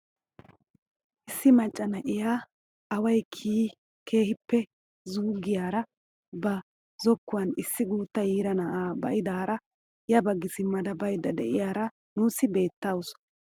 Issi macca na'iyaa away kiyi keehippe xuugiyaara ba zokkuwaan issi gutta yiira na'aa ba'idaara ya baggi simmada baydda deiyaara nuusi beettawus.